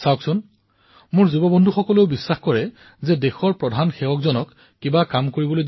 চাওক মোৰ তৰুণ সহযোগীয়ে বিশ্বাস কৰে যে দেশৰ প্ৰধান সেৱকক কামৰ কথা কলে সেয়া হবই